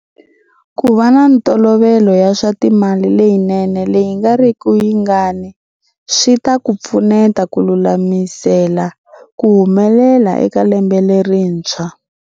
Ku va na mitolovelo ya swa timali leyinene leyi nga riki yingani swi ta ku pfuneta ku lulamisela ku humelela eka lembe lerintshwa.